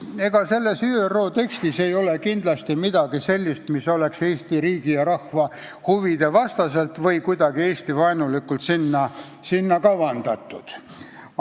Sellesse ÜRO teksti ei ole kindlasti midagi Eesti riigi ja rahva huvide vastaselt või kuidagi Eesti-vaenulikult kavandatud.